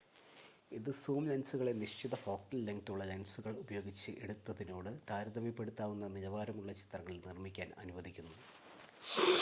ഇത് സൂം ലെൻസുകളെ നിശ്ചിത ഫോക്കൽ ലെങ്‌തുള്ള ലെൻസുകൾ ഉപയോഗിച്ച് എടുത്തതിനോട് താരതമ്യപ്പെടുത്താവുന്ന നിലവാരമുള്ള ചിത്രങ്ങൾ നിർമ്മിക്കാൻ അനുവദിക്കുന്നു